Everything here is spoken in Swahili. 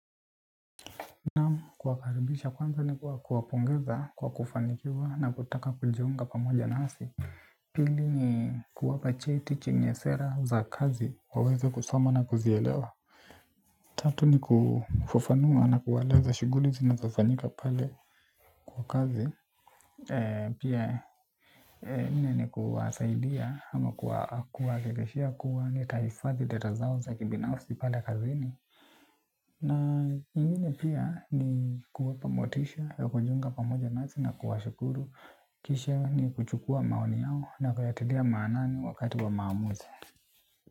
Kuwakaribisha kwanza ni kuwa kuwapongeza kwa kufanikiwa na kutaka kujiunga pamoja nasi. Pili ni kuwapa cheti chenye sera za kazi waweze kusoma na kuzielewa. Tatu ni kufafanua na kuwaeleza shuguli zinazo fanyika pale kwa kazi. Pia nne ni kuwasaidia ama kuwakikishia kuwa nitaifadhi data zao za kibinafsi pale kazini na ingine pia ni kuwapa motisha. Kwa jiunga pamoja nasi na kuwashukuru. Kisha ni kuchukua maoni yao. Na kuyatilia maanani wakati wa maamuzi.